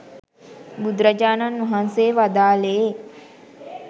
බුදුරජාණන් වහන්සේ වදාළේ